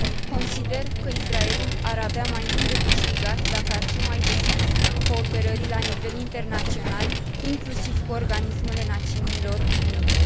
Consider că Israelul ar avea mai mult de câștigat dacă ar fi mai deschis cooperării la nivel internațional, inclusiv cu organismele Națiunilor Unite.